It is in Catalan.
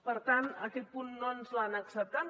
per tant aquest punt no ens l’han acceptat